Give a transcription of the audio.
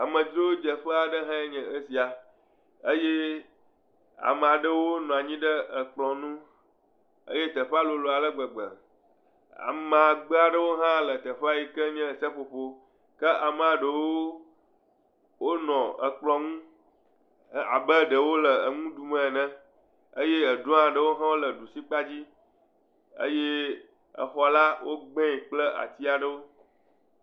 Amedzrodzeƒe aɖe hãe nye esia. Eye amaa ɖewo nɔ anyi ɖe ekplɔ̃ ŋu. Teƒea lolo ale gbegbe. Amagbe aɖe hã le teƒea yi ke nye seƒoƒo. Ke amea ɖewo le ekplɔ̃ ŋu abe ɖe wole nu ɖum ene. Eye eɖoa ɖewo hã wole ɖusi kpadzi. Eye exɔla, wogbɛ kple ati aɖewo.